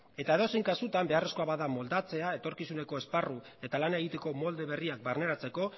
eta edozein kasutan beharrezkoa bada moldatzea etorkizuneko esparru eta lana egiteko molde berriak barneratzeko